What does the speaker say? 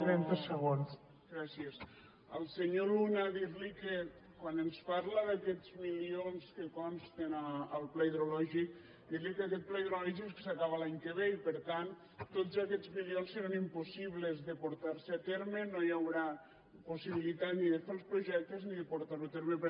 gràcies al senyor luna dir li que quan ens parla d’aquests milions que consten al pla hidrològic dir li que aquest pla hidrològic s’acaba l’any que ve i per tant tots aquests milions seran impossibles de portar se a terme no hi haurà possibilitat ni de fer els projectes ni de portar ho a terme